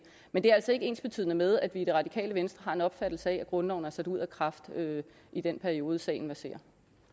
men det er altså ikke ensbetydende med at vi i det radikale venstre har en opfattelse af at grundloven er sat ud af kraft i den periode sagen verserer